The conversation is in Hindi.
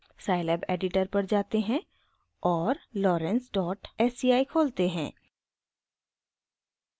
scilab एडिटर पर जाते हैं और lorenz डॉट sci खोलते हैं